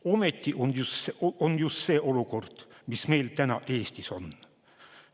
Ometi just see olukord meil täna Eestis on.